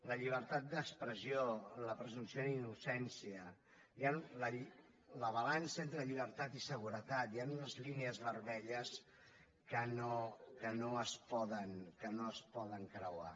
la llibertat d’expressió la presumpció d’innocència la balança entre llibertat i seguretat hi han unes línies vermelles que no es poden creuar